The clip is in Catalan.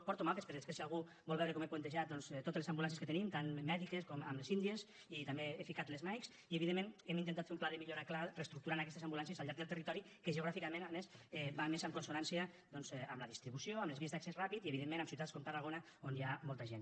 porto mapes per després si algú vol veure com he puntejat totes les ambulàncies que tenim tant mèdiques com les india i també he ficat les mike i evidentment hem intentat fer un pla de millora clar i reestructurar aquestes ambulàncies al llarg del territori que geogràficament a més va més en consonància amb la distribució amb les vies d’accés ràpid i evidentment a ciutats com tarragona on hi ha molta gent